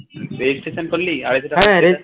registration করলি আড়াইশো টাকা